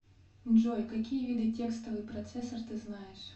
джой какие виды текстовый процессор ты знаешь